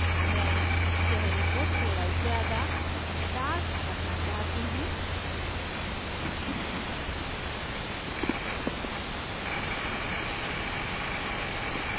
मैं चेहरे को थोड़ा ज़्यादा darker करना चाहती हूँ